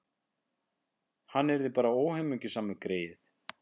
Hann yrði bara óhamingjusamur, greyið.